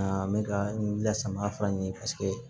N bɛ ka wuli lasama fura ɲini paseke